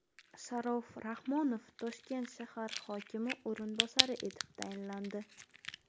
Sharof Rahmonov Toshkent shahar hokimi o‘rinbosari etib tayinlandi.